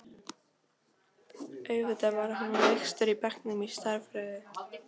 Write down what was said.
Auðvitað var hann lægstur í bekknum í stærðfræði.